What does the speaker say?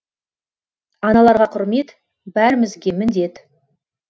аналарға құрмет бәрімізге міндет